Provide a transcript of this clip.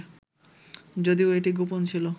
যদিও এটি গোপন ছিল